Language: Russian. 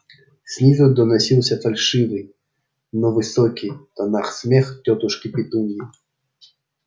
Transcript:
снизу доносился фальшивый но высоких нотах смех тётушки петуньи